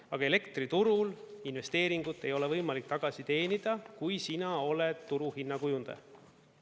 Aga elektriturul investeeringut ei ole võimalik tagasi teenida, kui sina oled turuhinna kujundaja.